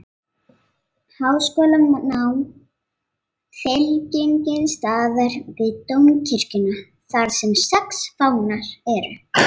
Háskóla nam fylkingin staðar við dómkirkjuna þarsem sex fánar